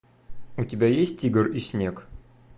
у тебя есть тигр и снег